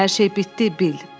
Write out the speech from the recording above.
"Hər şey bitdi, Bill!"